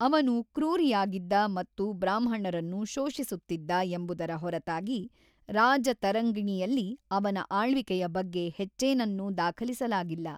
ಅವನು ಕ್ರೂರಿಯಾಗಿದ್ದ ಮತ್ತು ಬ್ರಾಹ್ಮಣರನ್ನು ಶೋಷಿಸುತ್ತಿದ್ದ ಎಂಬುದರ ಹೊರತಾಗಿ ರಾಜತರಂಗಿಣಿಯಲ್ಲಿ ಅವನ ಆಳ್ವಿಕೆಯ ಬಗ್ಗೆ ಹೆಚ್ಚೇನನ್ನೂ ದಾಖಲಿಸಲಾಗಿಲ್ಲ.